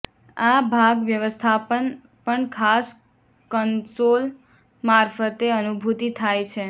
આ ભાગ વ્યવસ્થાપન પણ ખાસ કન્સોલ મારફતે અનુભૂતિ થાય છે